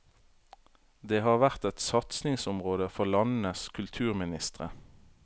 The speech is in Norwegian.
Det har vært et satsingsområde for landenes kulturministre.